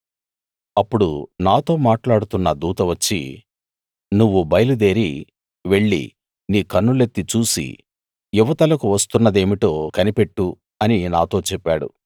అప్పుడు నాతో మాట్లాడుతున్న దూత వచ్చి నువ్వు బయలుదేరి వెళ్లి నీ కన్నులెత్తి చూసి ఇవతలకు వస్తున్నదేమిటో కనిపెట్టు అని నాతో చెప్పాడు